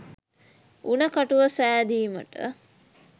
උණ කටුව සෑදීමට